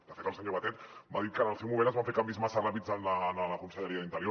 de fet el senyor batet m’ha dit que en el seu moment es van fer canvis massa ràpids en la conselleria d’interior